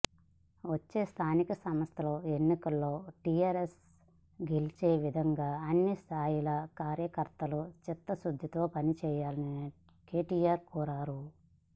వచ్చే స్థానిక సంస్థల ఎన్నికల్లో టిఆర్ఎస్ గెలిచేవిధంగా అన్ని స్థాయిల కార్యకర్తలు చిత్తశుద్ధితో పని చేయాలని కెటిఆర్ కోరారు